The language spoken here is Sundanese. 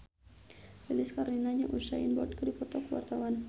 Lilis Karlina jeung Usain Bolt keur dipoto ku wartawan